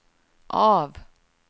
av